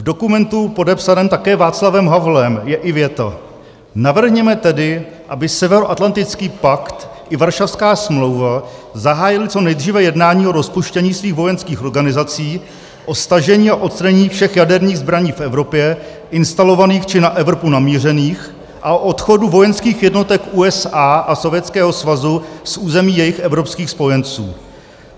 V dokumentu podepsaném také Václavem Havlem je i věta: "Navrhněme tedy, aby Severoatlantický pakt i Varšavská smlouva zahájily co nejdříve jednání o rozpuštění svých vojenských organizací, o stažení a odstranění všech jaderných zbraní v Evropě instalovaných či na Evropu namířených a o odchodu vojenských jednotek USA a Sovětského svazu z území jejich evropských spojenců."